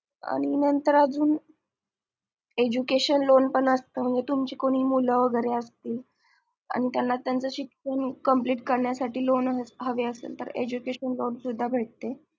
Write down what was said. आणि नंतर अजून education loan पण असत म्हणजे तुमचे कोणी मूल वगैरे असतील आणि त्याना त्यांचं शिक्षण complete करण्यासाठी education loan सुद्धा भेटत